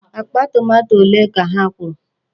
Akpa tomato ole ka ha kwọrọ?